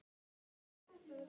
Pabbi að.